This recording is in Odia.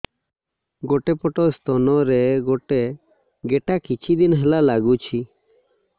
ଗୋଟେ ପଟ ସ୍ତନ ରେ ଗୋଟେ ଗେଟା କିଛି ଦିନ ହେଲା ଲାଗୁଛି